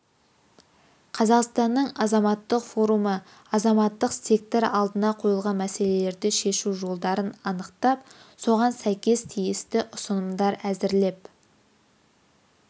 қазақстанның азаматтық форумы азаматтық сектор алдына қойылған мәселелерді шешу жолдарын анықтап соған сәйкес тиісті ұсынымдар әзірлеп